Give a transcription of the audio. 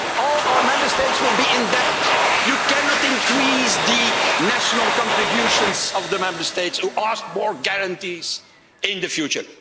All our Member States will be in debt. You cannot increase the national contributions of the Member States by asking for more guarantees in the future.